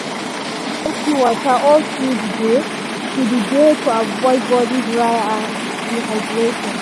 e dey drink plenty water all through the day to the day to avoid body dry and dehydration.